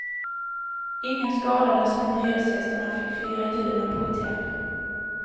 Ingen skadades men hyresgästerna fick fira julen på hotell.